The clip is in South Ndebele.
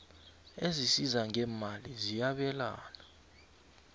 ezisiza ngeemali ziyabelana